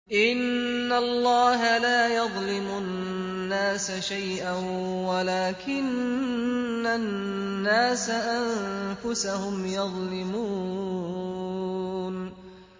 إِنَّ اللَّهَ لَا يَظْلِمُ النَّاسَ شَيْئًا وَلَٰكِنَّ النَّاسَ أَنفُسَهُمْ يَظْلِمُونَ